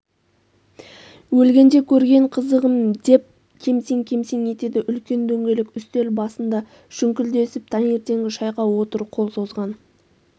өлгенде көрген қызығым деп кемсең-кемсең етеді үлкен дөңгелек үстел басында шүңклдесп таңертеңгі шайға отыр қол созған